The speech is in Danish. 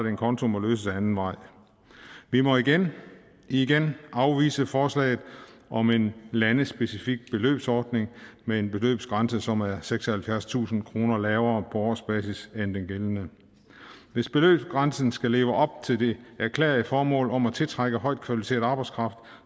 en konto må løses ad anden vej vi må igen igen afvise forslaget om en landespecifik beløbsordning med en beløbsgrænse som er seksoghalvfjerdstusind kroner lavere på årsbasis end den gældende hvis beløbsgrænsen skal leve op til det erklærede formål om at tiltrække højt kvalificeret arbejdskraft